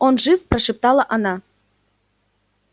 он жив прошептала она